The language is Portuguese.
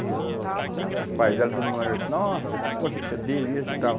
E o os pais dela, todo mundo lá, disse, nossa, que força que você deu. e tal.